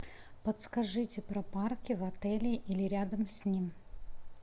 подскажите про парки в отеле или рядом с ним